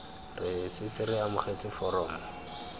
re setse re amogetse foromo